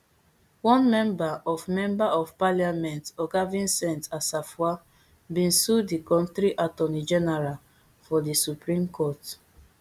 one member of member of parliament oga vincent assafuah bin sue di kontri attorney general for di supreme court